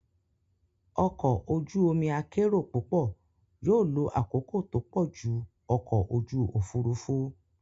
Ọkọ̀ ojú omi akérò púpọ̀ yóò lo àkókò tó pọ̀ ju ọkọ̀ ojú òfurufú.